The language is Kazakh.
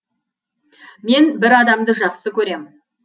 мен бір адамды жақсы көрем